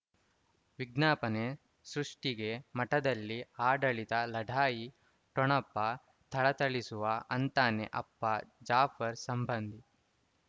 ವಿಜ್ಞಾಪನೆ ಸೃಷ್ಟಿಗೆ ಮಠದಲ್ಲಿ ಆಡಳಿತ ಲಢಾಯಿ ಠೊಣಪ ಥಳಥಳಿಸುವ ಅಂತಾನೆ ಅಪ್ಪ ಜಾಫರ್ ಸಂಬಂಧಿ